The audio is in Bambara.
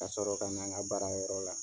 Ka sɔrɔ ka na n ka baara yɔrɔ la.